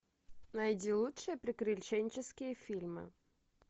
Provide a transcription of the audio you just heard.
найди лучшие приключенческие фильмы